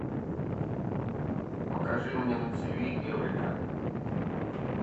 покажи мне на тиви эврика